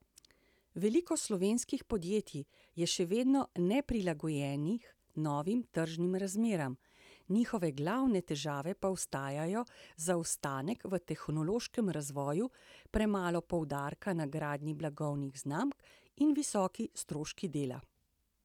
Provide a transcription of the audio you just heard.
Veliko slovenskih podjetij je še vedno neprilagojenih novim tržnim razmeram, njihove glavne težave pa ostajajo zaostanek v tehnološkem razvoju, premalo poudarka na gradnji blagovnih znamk in visoki stroški dela.